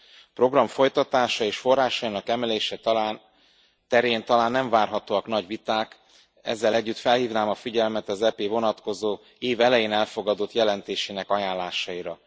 A program folytatása és forrásainak emelése terén talán nem várhatóak nagy viták, ezzel együtt felhívnám a figyelmet az EP vonatkozó, év elején elfogadott jelentésének ajánlásaira.